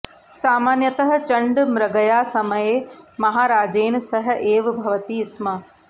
सामान्यतः चण्ड मृगयासमये महाराजेन सह एव भवति स्म